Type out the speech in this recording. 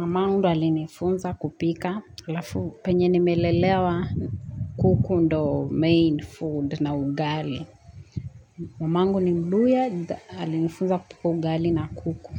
mamangu alinifunza kupika alafu penye nimelelewa kuku ndo main food na ugali. Mamangu ni mluya, alinifunza kupika ugali na kuku.